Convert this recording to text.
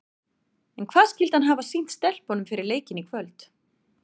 En hvað skyldi hann hafa sýnt stelpunum fyrir leikinn í kvöld?